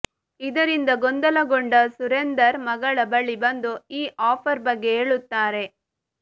ಇದರಿಂದ ಗೊಂದಲಗೊಂಡ ಸುರೇಂದರ್ ಮಗಳ ಬಳಿ ಬಂದು ಈ ಆಫರ್ ಬಗ್ಗೆ ಹೇಳುತ್ತಾರೆ